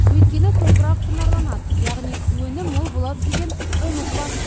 өйткені топырақ құнарланады яғни өнім мол болады деген үміт басым